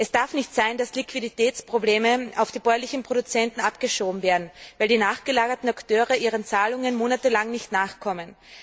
Es darf nicht sein, dass Liquiditätsprobleme auf die bäuerlichen Produzenten abgeschoben werden, weil die nachgelagerten Akteure ihren Zahlungen monatelang nicht nachkommen.